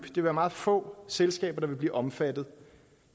vil være meget få selskaber der vil blive omfattet